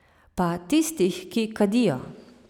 Pa tistih, ki kadijo.